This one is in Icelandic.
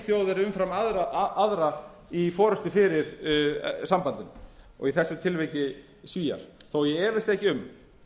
þjóð er umfram aðrar í forustu fyrir sambandinu og í þessu tilviki svíar þó ég efist ekki um